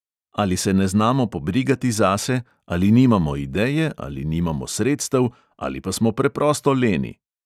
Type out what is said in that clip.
Ali se ne znamo pobrigati zase, ali nimamo ideje, ali nimamo sredstev, ali pa smo preprosto leni.